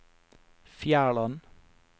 Fjærland